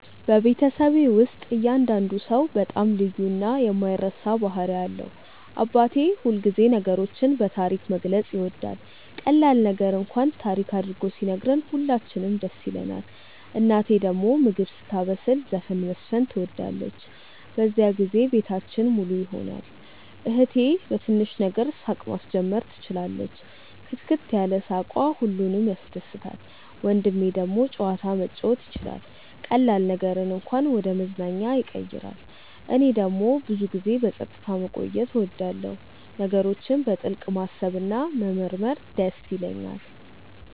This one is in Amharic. በቤተሰቤ ውስጥ እያንዳንዱ ሰው በጣም ልዩ እና የማይረሳ ባህሪ አለው። አባቴ ሁልጊዜ ነገሮችን በታሪክ መግለጽ ይወዳል፤ ቀላል ነገር እንኳን ታሪክ አድርጎ ሲነግረን ሁላችንም ደስ ይለንናል። እናቴ ደግሞ ምግብ ስታበስል ዘፈን መዝፈን ትወዳለች፤ በዚያን ጊዜ ቤታችን ሙሉ ይሆናል። እህቴ በትንሽ ነገር ሳቅ ማስጀመር ትችላለች፣ ክትክት ያለ ሳቅዋ ሁሉንም ያስደስታል። ወንድሜ ደግሞ ጨዋታ መጫወት ይችላል፤ ቀላል ነገርን እንኳን ወደ መዝናኛ ያቀይራል። እኔ ደግሞ ብዙ ጊዜ በጸጥታ መቆየት እወዳለሁ፣ ነገሮችን በጥልቅ ማሰብ እና መመርመር ይደስ ይለኛል።